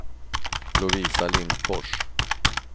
Lovisa Lindfors